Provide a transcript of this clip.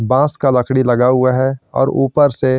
बास का लकड़ी लगा हुआ है और ऊपर से--